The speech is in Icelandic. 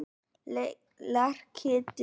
Lerkidal